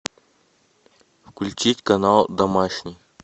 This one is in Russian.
включить канал домашний